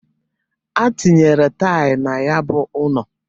Atinyere taịl na ya bụ ụnọ.